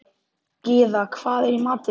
Gyða, hvað er í matinn?